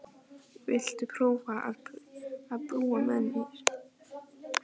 Viltu prófa að búa með mér.